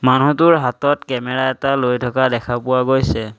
মানুহটোৰ হাতত কেমেৰা এটা লৈ থকা দেখা পোৱা গৈছে।